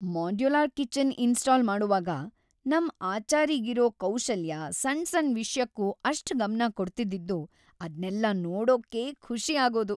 Modular kitchen install ಮಾಡೋವಾಗ ನಮ್‌ ಆಚಾರಿಗಿರೋ ಕೌಶಲ್ಯ, ಸಣ್‌ ಸಣ್ ವಿಷ್ಯಕ್ಕೂ ‌ಅಷ್ಟ್ ಗಮ್ನ ಕೊಡ್ತಿದ್ದಿದ್ದು ಅದ್ನೆಲ್ಲ ನೋಡೋಕ್ಕೇ ಖುಷಿ ಆಗೋದು.